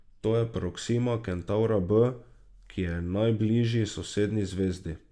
To je Proksima Kentavra b, ki je pri najbližji sosednji zvezdi.